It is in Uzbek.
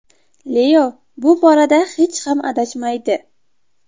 Leo bu borada hech ham adashmaydi.